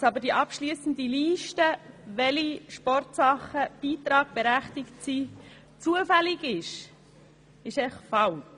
Die Annahme, wonach die abschliessende Liste, welche Sportarten beitragsberechtigt sind, zufällig ist, ist falsch.